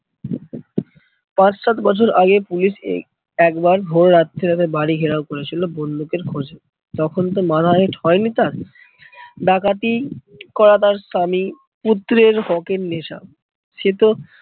পাঁচ সাত বছর আগে পুলিশ এই একবার ভোর রাত্রে ওদের বাড়ি ঘেরাও করেছিল বন্দুকের খোঁজে তখনতো মাথা হেট্ হয়নি তার। ডাকাতি করা তার স্বামী পুত্রের হকের নেশা সেতো